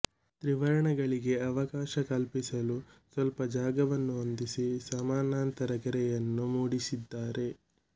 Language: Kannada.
ತ್ರಿವರ್ಣಗಳಿಗೆ ಅವಕಾಶಕಲ್ಪಿಸಲು ಸ್ವಲ್ಪ ಜಾಗವನ್ನು ಹೊಂದಿಸಿ ಸಮಾನಾಂತರ ಗೆರೆಯನ್ನು ಮೂಡಿಸಿದ್ದಾರೆ